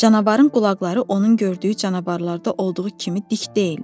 Canavarın qulaqları onun gördüyü canavarlarda olduğu kimi dik deyildi.